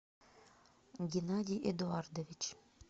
геннадий эдуардович